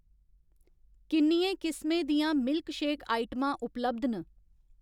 किन्नियें किस्में दियां milkshake आइटमां उपलब्ध न ?